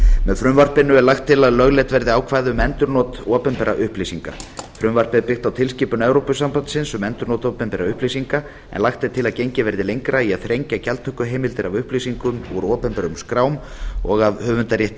með frumvarpinu er lagt til að lögleidd verði ákvæði um endurnot opinberra upplýsinga frumvarpið er byggt á tilskipun evrópusambandsins um endurnot opinberra upplýsinga en lagt er til að gengið verði lengra í að þrengja gjaldtökuheimildir af upplýsingum úr opinberum skrám og af höfundarétti